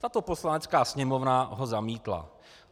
Tato Poslanecká sněmovna ho zamítla.